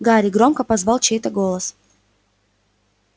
гарри громко позвал чей-то голос